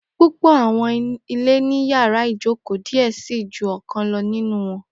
Pupọ awọn ile ni yàrá ìjókòó diẹ sii ju ọkan lọ ninu wọn.